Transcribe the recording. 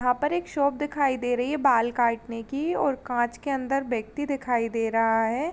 यहाँ पर एक शॉप दिखाई दे रही है बाल काटने की और कांच के अंदर व्यक्ति दिखाई दे रहा है।